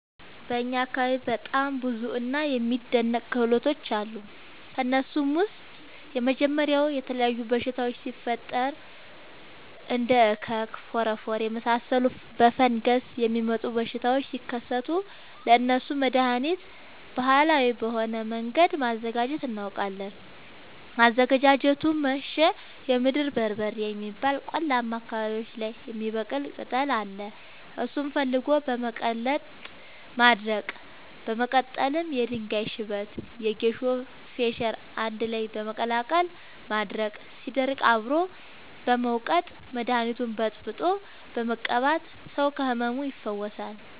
በእኛ አካባቢ በጣም ብዙ እና የሚደናንቅ ክህሎቶች አሉ። ከእነሱም ውስጥ የመጀመሪያው የተለያዩ በሽታወች ሲፈጠሪ እንደ እከክ ፎረፎር የመሳሰሉ በፈንገስ የሚመጡ በሽታዎች ሲከሰቱ ለእነሱ መደሀኒት ባህላዊ በሆነ መንገድ ማዘጋጀት እናውቃለን። አዘገጃጀቱመሸ የምድር በርበሬ የሚባል ቆላማ አካባቢዎች ላይ የሚበቅል ቅጠል አለ እሱን ፈልጎ በመቀለረጥ ማድረቅ በመቀጠልም የድንጋይ ሽበት የጌሾ ፈሸሬ አንድላይ በመቀላቀል ማድረቅ ሲደርቅ አብሮ በመውቀጥ መደኒቱን በጥብጦ በመቀባት ሰው ከህመሙ ይፈወሳል።